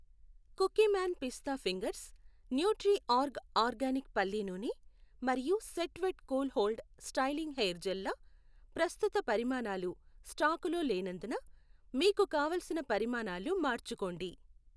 Cookieman పిస్తా fingers, Nutriorg organic పల్లీ నూనె మరియు Set Wet cool hold styling hair gel ల ప్రస్తుత పరిమాణాలు స్టాకులో లేనందున మీకు కావలసిన పరిమాణాలు మార్చుకోండి.